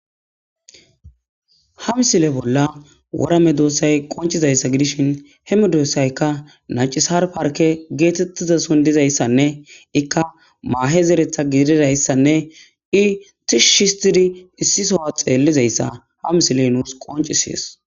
ha misile bolla wora medoosay qoncizayssa gidishin he medoosaykka nacisar parke geetetiizasoon dizayssanne ikka maahe zeereththa gididayssanne i tishshi histtidi issi soohuwa xeellizayssa ha misiley nuus qoncisees